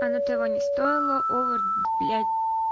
оно того не стоило овер блять